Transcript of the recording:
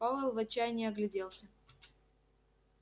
пауэлл в отчаянии огляделся